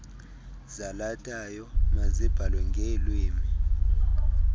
zalathayo mazibhalwe ngeelwimi